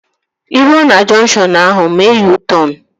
Ị ruo na junkshọnu ahu, mee U-tọn